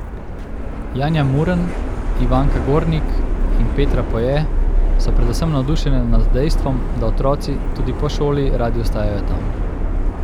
Janja Murn, Ivanka Gornik in Petra Poje so predvsem navdušene nad dejstvom, da otroci tudi po šoli radi ostajajo tam.